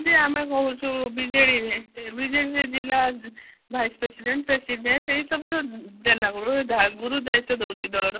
ଯେମିତି ଆମେ କହୁଛୁ ବିଜେଡି ରେ ଜିଲ୍ଲା vice president ଏହି ସବୁ ଯୋଉ ଦେଲା ବେଳେ ଗୁରୁ ଦାୟିତ୍ଵ ଦଉଛି ଦଳର